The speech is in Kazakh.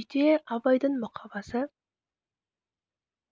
үйде абайдың мұқабасы